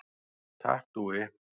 Takk Dúi.